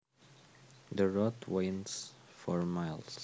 The road winds for miles